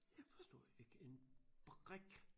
Jeg forstod jo ikke en brik